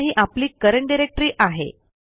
आता ही आपली करंट डायरेक्टरी आहे